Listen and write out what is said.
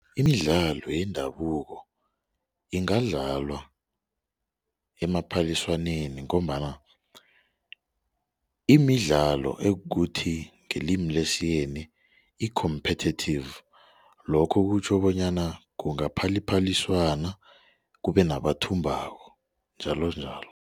Imidlalo yendabuko ingadlalwa emaphaliswaneni ngombana imidlalo ekuthi ngelimi lesiyeni i-competitive lokho kutjho bonyana kungaphali iphaliswano kube nabathumbako njalonjalo.